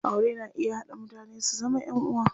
Aure na iya haɗa mutane su zama ƴan uwa.